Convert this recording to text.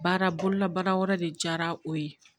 Baara bolola baara wɛrɛ de diyara o ye